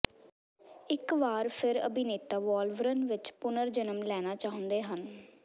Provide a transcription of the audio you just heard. ਇਕ ਵਾਰ ਫਿਰ ਅਭਿਨੇਤਾ ਵੋਲਵਰਨ ਵਿਚ ਪੁਨਰ ਜਨਮ ਲੈਣਾ ਚਾਹੁੰਦੇ ਹਨ